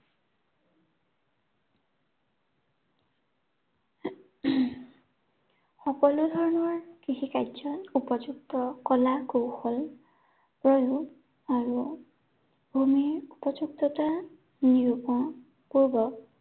সকলো ধৰনৰ কৃষি কাৰ্য উপযুক্ত কলা কৌশল, আৰু ভূমিৰ উপযুক্ততা নিৰূপন পূৰ্ব